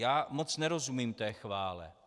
Já moc nerozumím té chvále.